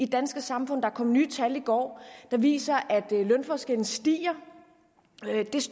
danske samfund der kom nye tal i går der viser at lønforskellen stiger